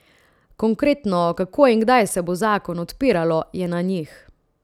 Konkretno, kako in kdaj se bo zakon odpiralo, je na njih.